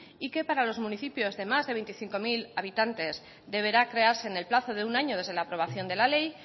y que para los municipios de más de veinticinco mil habitantes deberá crearse en el plazo de un año desde la aprobación de la ley